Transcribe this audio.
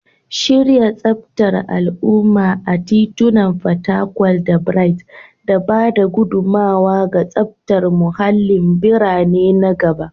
Shirya tsaftar al'umma a titunan fatakwal da Bright da ba da gudummawa ga tsaftar muhallin birane na gaba.